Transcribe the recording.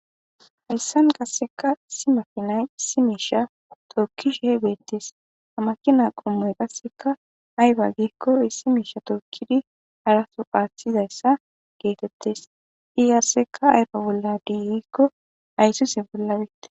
hayssan qasseka issi makinay issi miisha tokkishihe beettes havmakina qommoy qasseka ayba giikko issi miisha tookidi haraso qaathizayssa geetettes i qaseka ayba bolla dii gikko ayssuze bolla betes